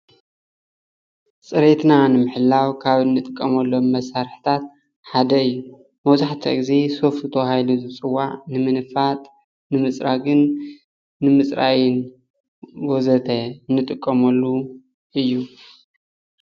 ፅሬቴና ንምሕላው ኻብ እንጥቀመሎም መሳርሕታት ሓደ እዩ ።መብዛሕትኡ ግዜሶፍት ተባሂሉ ዝፅዋዕ ንምንፋጥ፣ ንምፅራግን፣ ንምፅራይን ወዘተ እንጥቀመሉ እዩ።